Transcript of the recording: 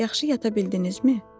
Yaxşı yata bildinizmi?